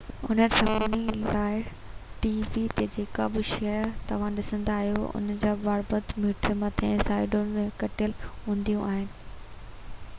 انهي سبب لاءِ ٽي وي تي جيڪا به شيءِ توهان ڏسندا آهيو ان جا بارڊر هيٺ مٿي ۽ سائيڊون ڪٽيل هونديون آهن